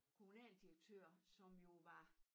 Kommunaldirektør som jo var